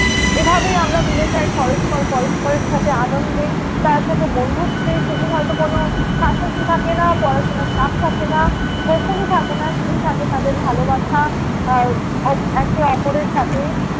এভাবেই আমরা মিলে যাই পরস্পর পরস্পরের সাথে আনন্দে তার সাথে বন্ধুত্বে। সেদিন হয়ত কোনো শাসন থাকে না পড়াশোনার চাপ থাকে না, বকুনি থাকে না। শুধুই থাকে তাঁদের ভালোবাসা। আহ অপ~ একে অপরের সাথে